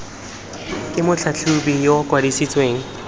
ke motlhatlhobi yo o kwadisitsweng